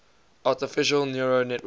artificial neural network